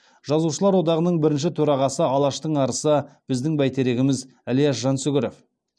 жазушылар одағының бірінші төрағасы алаштың арысы біздің бәйтерегіміз ілияс жансүгіров